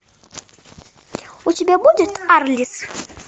у тебя будет арлисс